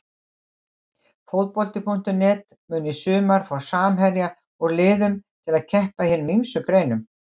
Fótbolti.net mun í sumar fá samherja úr liðum til að keppa í hinum ýmsu greinum.